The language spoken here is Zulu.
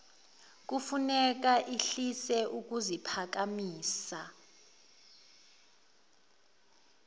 kufuneka ehlise ukuziphakamisa